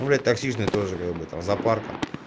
ну блять токсичный тоже как бы там запарка